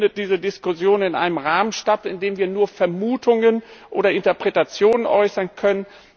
Deshalb findet diese Diskussion in einem Rahmen statt, in dem wir nur Vermutungen oder Interpretationen äußern können.